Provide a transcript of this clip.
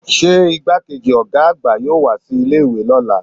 se igbákejì oga àgbà yọọ wa si ilé ìwé lọla?